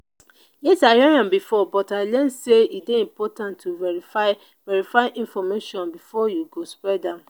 yes i hear am before but i learn say e dey important to verify verify information before you go spread am.